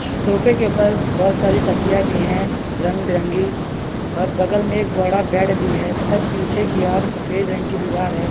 सोफे के ऊपर बहोत सारी तकिया भी है रंग-बिरंगी और बगल में एक बड़ा बेड भी है तथा पीछे की और सफेद रंग की दीवार है।